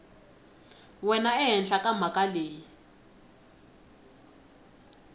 wena ehenhla ka mhaka leyi